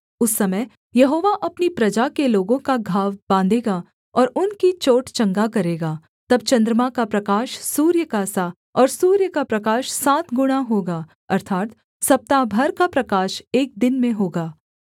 उस समय यहोवा अपनी प्रजा के लोगों का घाव बाँधेगा और उनकी चोट चंगा करेगा तब चन्द्रमा का प्रकाश सूर्य का सा और सूर्य का प्रकाश सात गुणा होगा अर्थात् सप्ताह भर का प्रकाश एक दिन में होगा